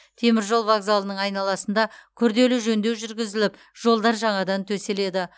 теміржол вокзалының айналасында күрделі жөндеу жүргізіліп жолдар жаңадан төселеді